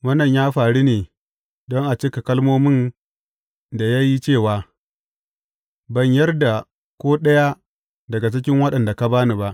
Wannan ya faru ne don a cika kalmomin da ya yi cewa, Ban yar da ko ɗaya daga cikin waɗanda ka ba ni ba.